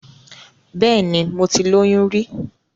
Bẹ́ẹ̀ni, mo ti lóyún rí.